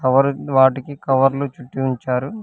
Cover వాటికి కవర్లు చుట్టి ఉంచారు.